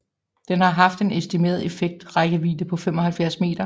Den har haft en estimeret effektiv rækkevidde på 75 m